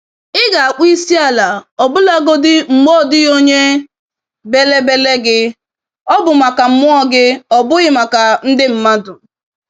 Ị ga-akpọ isiala ọbụlagodi mgbe ọdịghị onye bélè bélè gị - ọ bụ maka mmụọ gị, ọ bụghị maka ndị mmadụ.